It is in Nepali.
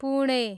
पुणे